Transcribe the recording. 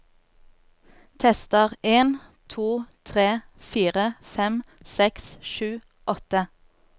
Tester en to tre fire fem seks sju åtte